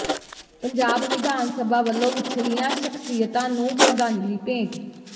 ਪੰਜਾਬ ਵਿਧਾਨ ਸਭਾ ਵੱਲੋਂ ਵਿਛੜੀਆਂ ਸ਼ਖਸੀਅਤਾਂ ਨੂੰ ਸ਼ਰਧਾਂਜਲੀ ਭੇਂਟ